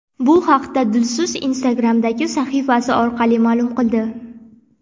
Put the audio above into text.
Bu haqda Dilso‘z Instagram’dagi sahifasi orqali ma’lum qildi.